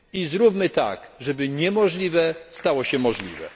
Zróbmy tak, żeby niemożliwe stało się możliwe.